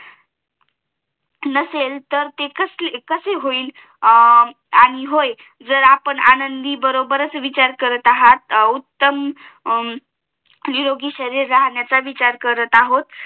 तर ते कसे होईल आणि होय जर आपण अंडी बरोबरच विचार करत आहार उत्तम निरोगी शरिर राहण्याचा विचार करत आहोत